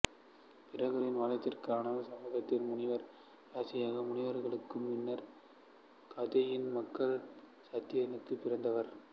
பிருகுவின் வழித்தோன்றலான ஜமதக்கினி முனிவர் ரிசிக முனிவருக்கும் மன்னர் காதியின் மகள் சத்தியவதிக்கும் பிறந்தவர்